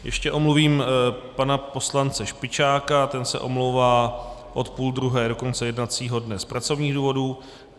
Ještě omluvím pana poslance Špičáka, ten se omlouvá od půl druhé do konce jednacího dne z pracovních důvodů.